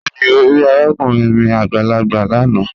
Bẹẹni, o ri arakunrin mi agbalagba lana